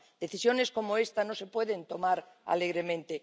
Decisiones como esta no se pueden tomar alegremente.